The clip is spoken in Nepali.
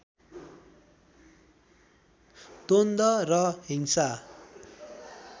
द्वन्द्व र हिंसा